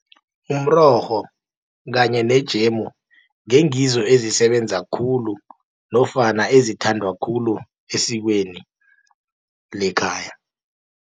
Umrorho kanye nejemu, ngengizo ezisebenza khulu, nofana ezithandwa khulu esikweni lekhaya.